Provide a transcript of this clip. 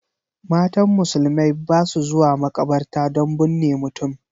Matan musulmai ba su zuwa makabarta don bunne mutum